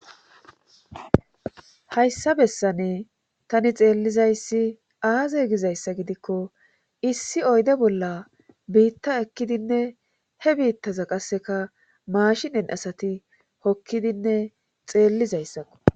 Hayssa bessane tani xeellizayssi aaze gizayssa gidikko issi oyde bolla biitta ekkidinne he biittaza qasseka maashinen asati hokkidinne xeellizayssakko.